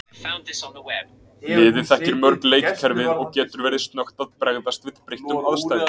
Liðið þekkir mörg leikkerfið og getur verið snöggt að bregðast við breyttum aðstæðum.